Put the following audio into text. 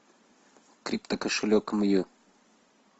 криптокошелек мью